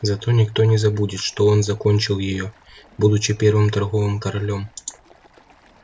зато никто не забудет что он закончил её будучи первым торговым королём